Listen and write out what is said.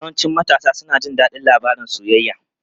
Yawancin matasa suna jin daɗin labarun soyayya.